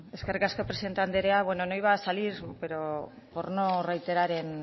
eskerrik asko presidente anderea bueno no iba a salir pero por no reiterar